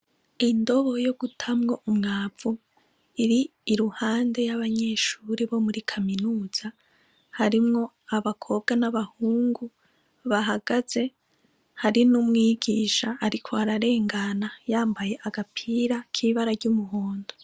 Indobo yo gutamwo umwavu iri iruhande y'abanyeshuri bo muri kaminuza harimwo abakobwa n'abahungu bahagaze hari n'umwigisha, ariko ararengana yambaye agapira k'ibara ry'umuhondo.